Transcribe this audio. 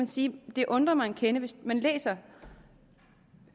sige at det undrer mig en kende for hvis man læser